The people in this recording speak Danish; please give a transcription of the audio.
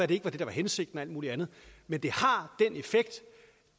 det der var hensigten og alt mulig andet men det har